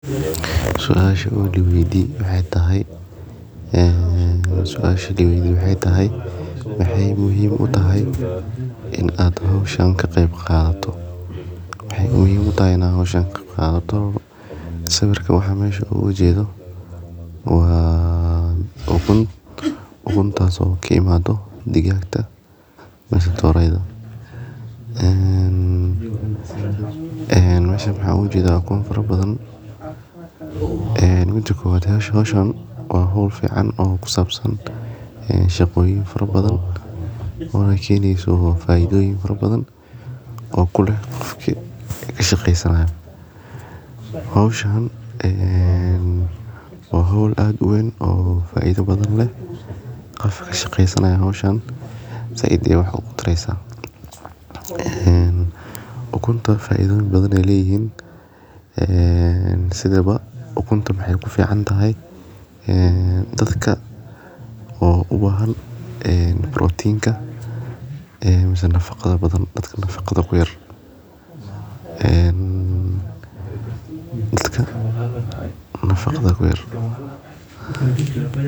Sawirka meesha uga jeedo waa ukun — ukumo taasoo ka timaadda digaagga. Howshan waa hawl fiican oo ku saabsan shaqooyin fara badan, oo keeni karta faa’iidooyin fara badan kuna leedahay qofkii ka shaqeynayo. Waa hawl aad u weyn oo faa’iido leh qofkii ka shaqeeya. Sidoo kale, waxay si gaar ah uga mid tahay waaxyaha ugu faa’iidada badan ee ukunta. Ukuntu faa’iido badan bay leedahay; waxay ku fiican tahay dadka u baahan borotiin iyo nafaqo badan, ama dadka nafaqada ku yar.